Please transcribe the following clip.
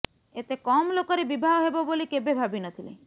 ଏତେ କମ୍ ଲୋକରେ ବିବାହ ହେବ ବୋଲି କେବେ ଭାବି ନ ଥିଲି